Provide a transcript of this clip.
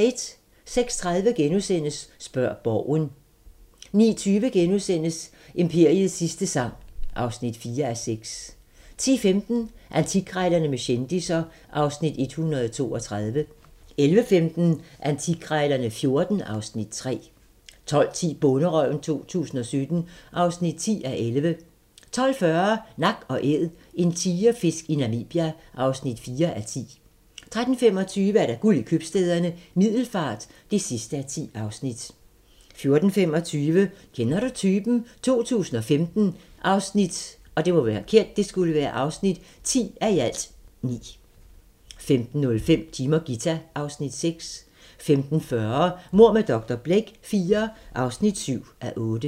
06:30: Spørg Borgen * 09:20: Imperiets sidste sang (4:6)* 10:15: Antikkrejlerne med kendisser (Afs. 132) 11:15: Antikkrejlerne XIV (Afs. 3) 12:10: Bonderøven 2017 (10:11) 12:40: Nak & Æd - en tigerfisk i Namibia (4:10) 13:25: Guld i Købstæderne - Middelfart (10:10) 14:25: Kender du typen? 2015 (10:9) 15:05: Jim og Ghita (Afs. 6) 15:40: Mord med dr. Blake IV (7:8)